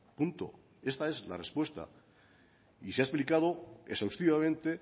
punto esta es la respuesta y se ha explicado exhaustivamente